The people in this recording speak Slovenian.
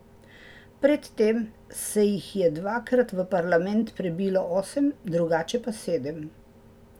Pred tem se jih je dvakrat v parlament prebilo osem, drugače pa sedem.